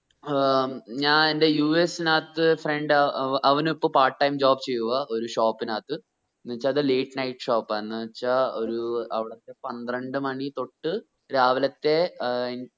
ആഹ് ഞാൻ എന്റെ യു എസ്സിനത്തെ friend അവ അവൻ ഇപ്പം part time job ചെയ്യുആ ഒരു shop നാത്ത് എന്ന് വെച്ചാ അത് late night shop ആ എന്നുവെച്ചു അവിടത്തെ ഒരു പത്രണ്ട് മണി തൊട്ട് രാവിലത്തെ ഏർ